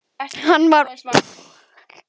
Hann var alúðlegur við þá en talaði enga tæpitungu.